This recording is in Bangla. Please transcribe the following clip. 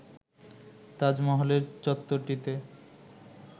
তাজমহলের চত্বরটিতে